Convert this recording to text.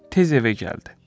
Tez evə gəldi.